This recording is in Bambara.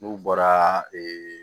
N'u bɔra ee